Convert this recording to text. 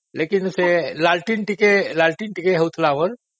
କିନ୍ତୁ ସେ ଲଣ୍ଠନ ଟିକେ ହଉଥିଲା ଆମର